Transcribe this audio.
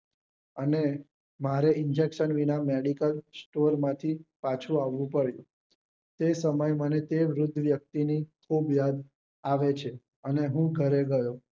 અને મારે injection વિના medical store માંથી પાછું આવવું પડ્યું તે સમયે મને તે વૃદ્ધ વ્યક્તિ ની ખુબ યાદ આવે છે અને હું ઘરે ગયો